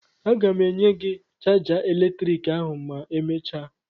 Aga m enye gị chaja eletriki ahụ ma emechaa!